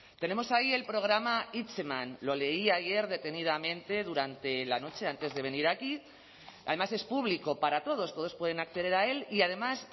tenemos ahí el programa hitzeman lo leí ayer detenidamente durante la noche antes de venir aquí además es público para todos todos pueden acceder a él y además